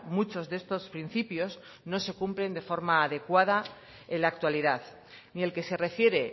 muchos de estos principios no se cumplen de forma adecuada en la actualidad ni el que se refiere